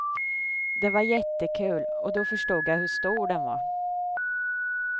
Det var jättekul och då förstod jag hur stor den var.